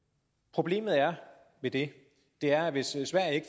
problemet ved det er at hvis sverige